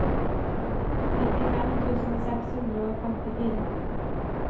nittifem tusen seks hundre og femtifire